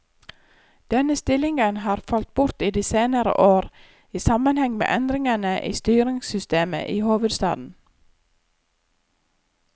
Denne stillingen har falt bort i de senere år, i sammenheng med endringene i styringssystemet i hovedstaden.